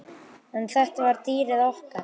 En þetta var dýrið okkar.